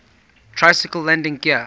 tricycle landing gear